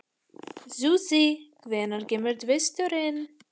Susie, hvenær kemur tvisturinn?